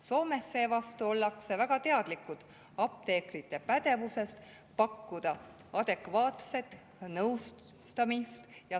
Soomes seevastu ollakse väga teadlikud, et apteekrid on pädevad, nad suudavad adekvaatselt nõustada.